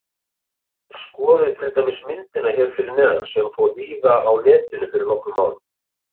Skoðið til dæmis myndina hér fyrir neðan sem fór víða á Netinu fyrir nokkrum árum.